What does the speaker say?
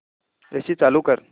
AC चालू कर